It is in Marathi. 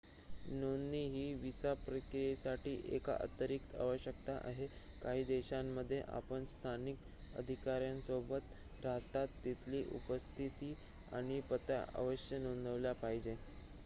नोंदणी ही विसा प्रक्रियेसाठी एक अतिरिक्त आवश्यकता आहे काही देशांमध्ये आपण स्थानिक अधिकाऱ्यांसोबत राहता तिथली उपस्थिती आणि पत्ता अवश्य नोंदवला पाहिजे